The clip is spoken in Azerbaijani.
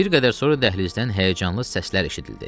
Bir qədər sonra dəhlizdən həyəcanlı səslər eşidildi.